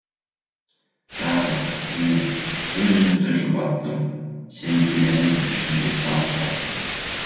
тағы міне өз өзімді жұбаттым сенделемін ішінде сан сұрақтың